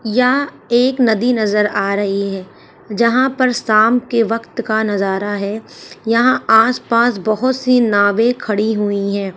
यहां एक नदी नजर आ रही है जहां पर शाम के वक्त का नजारा है। यहां आस पास बहोत सी नावें खड़ी हुई हैं।